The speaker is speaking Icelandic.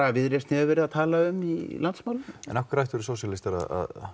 Viðreisn hefur verið að tala um í landsmálum en af hverju ættu sósíalistar að